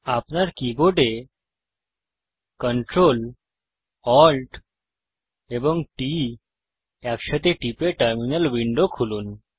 আপনার keyboard Ctrl Alt এবং T একসাথে টিপে টার্মিনাল উইন্ডো খুলুন